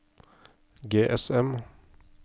GSM